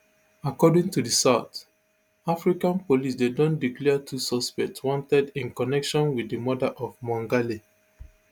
according to di south african police dem don declare two suspects wanted in connection wit di murder of mongale